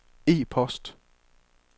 e-post